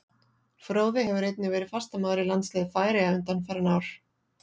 Fróði hefur einnig verið fastamaður í landsliði Færeyja undanfarin ár.